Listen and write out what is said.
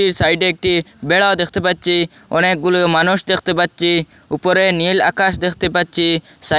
সাইডে একটি বেড়াও দেখতে পাচ্চি অনেকগুলো মানুষ দেখতে পাচ্চি উপরে নীল আকাশ দেখতে পাচ্চি সাইড--